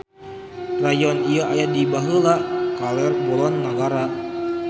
Rayon ieu aya di beulah kaler-kulon nagara.